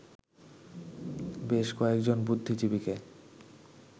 বেশ কয়েকজন বুদ্ধিজীবীকে